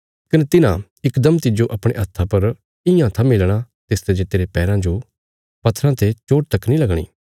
कने तिन्हां इकदम तिज्जो अपणे हत्था पर इयां थम्मी लेणा तिसते जे तेरे पैराँ जो बी पत्थराँ ते चोट तक नीं लगणी